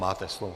Máte slovo.